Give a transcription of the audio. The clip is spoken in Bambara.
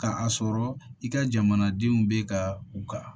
Ka a sɔrɔ i ka jamanadenw bɛ ka u ka